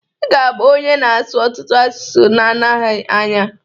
Ị ga-abụ onye na-asụ ọtụtụ asụsụ n'oge nadghị anya.